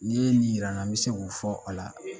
N'i ye nin jira n na n bɛ se k'o fɔ a la